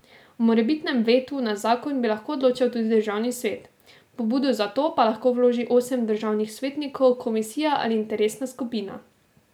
O morebitnem vetu na zakon bi lahko odločal tudi državni svet, pobudo za to pa lahko vloži osem državnih svetnikov, komisija ali interesna skupina.